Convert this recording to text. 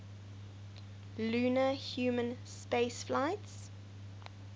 lunar human spaceflights